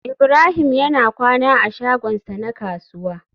Ibrahim yana kwana a shagonsa na kasuwa